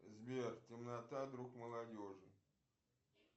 сбер темнота друг молодежи